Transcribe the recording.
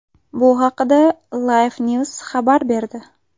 Bu haqda Lifenews xabar berdi .